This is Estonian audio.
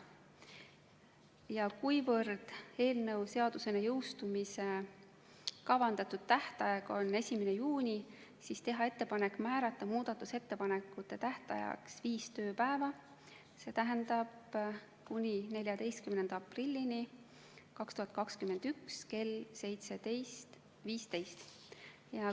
Ja kuna eelnõu seadusena jõustumise kavandatud tähtaeg on 1. juuni, siis tehti ettepanek määrata muudatusettepanekute tähtajaks 5 tööpäeva ehk 14. aprill kell 17.15.